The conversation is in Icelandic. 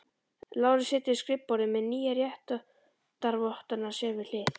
Lárus situr við skrifborðið með nýju réttarvottana sér við hlið.